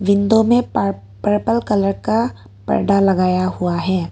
Window में purple colour का परदा लगाया हुआ है।